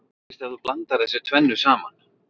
Hvað gerist ef þú blandar þessu tvennu saman?